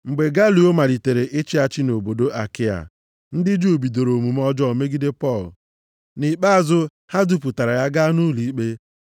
Mgbe Galio malitere ịchị achị nʼobodo Akaịa, ndị Juu bidoro omume ọjọọ megide Pọl. Nʼikpeazụ, ha dupụtara ya, gaa nʼụlọikpe.